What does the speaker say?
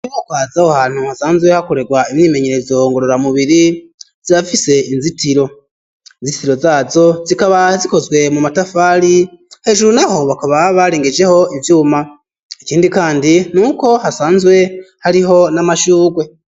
Koko hazaho hantu hasanzwe hakorerwa imyimenyerezongorora mubiri zafise inzitiro inzititiro zazo zikaba zikozwe mu matafari hejuru na ho bakaba barengejeho ivyuma ikindi, kandi niuko hasanzwe hariho n'amashurwe.